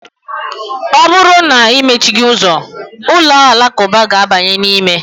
Ọ bụrụ na imechighị ụzọ, ụlọ alakụba ga-abanye n'ime.